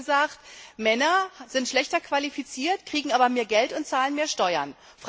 Sie hat gesagt, Männer sind schlechter qualifiziert, kriegen aber mehr Geld und zahlen mehr Steuern.